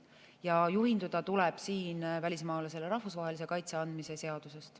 Ja juhinduda tuleb siin välismaalasele rahvusvahelise kaitse andmise seadusest.